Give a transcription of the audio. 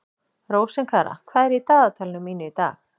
Rósinkara, hvað er í dagatalinu mínu í dag?